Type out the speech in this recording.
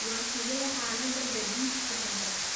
Waa sidee xaaladda gaadiidku hadda?